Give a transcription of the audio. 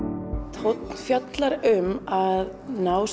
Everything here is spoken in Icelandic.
tónn fjallar um að ná